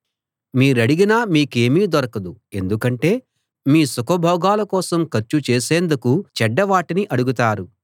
మీరడిగినా మీకేమీ దొరకదు ఎందుకంటే మీ సుఖభోగాల కోసం ఖర్చు చేసేందుకు చెడ్డ వాటిని అడుగుతారు